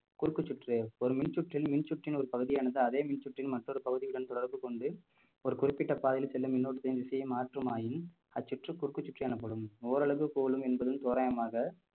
குறுக்கு சுற்று ஒரு மின்சுற்றில் மின் சுற்றின் ஒரு பகுதியானது அதே மின்சுற்றின் மற்றொரு பகுதியுடன் தொடர்பு கொண்டு ஒரு குறிப்பிட்ட பாதையில் செல்லும் மின்னோட்டத்தின் திசையை மாற்றுமாயின் அச்சுற்று குறுக்கு சுற்றி எனப்படும் ஓரளவு கோலும் என்பதும் தோராயமாக